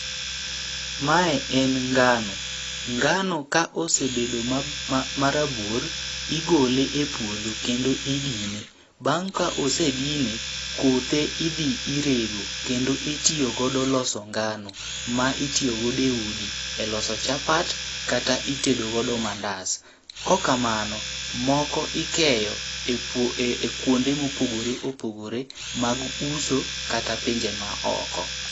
Mae en ngano, ngano ka osebedo ma ma rabuor, igole e puodho kendo idine. Bang' ka ose dine, kothe idhi irego kendo itiyo godo loso ngano ma itiyogode udi e loso chapat kata itedo godo mandas. Kokamano, moko ikeyo e puo e kuonde mopogore opogore mag uso kata pinje ma oko.